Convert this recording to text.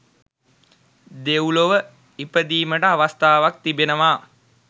දෙව්ලොව ඉපදීමට අවස්ථාවක් තිබෙනවා.